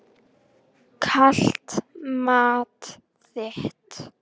Einnig eru þeir frekar feimnir og hlédrægir.